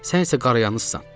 Sən isə qarayanızsan.